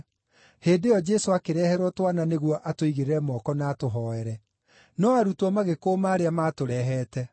Hĩndĩ ĩyo Jesũ akĩreherwo twana nĩguo atũigĩrĩre moko na atũhooere. No arutwo magĩkũũma arĩa maatũrehete.